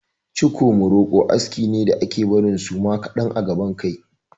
Ciko muroko aski ne da ake barin suma kaɗan a gaban kai.